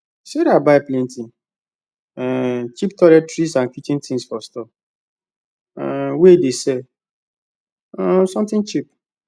sarah buy plenty um cheap toiletries and kitchen things for store um wey dey sell um something cheap